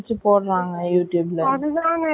notclear bg தச்சு வைக்குற மாதிரி வைக்கணும்.